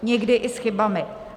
Někdy i s chybami.